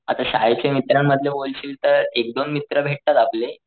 आता शाळेच्या मित्रांबद्दल बोलशील तर एक दोन मित्र भेटतात आपले.